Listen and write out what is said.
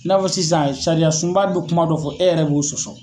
I n'a fɔ sisan sariya sunba dɔ kuma dɔ fɔ e yɛrɛ b'o sɔsɔ.